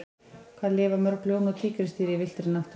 Hvað lifa mörg ljón og tígrisdýr í villtri náttúru?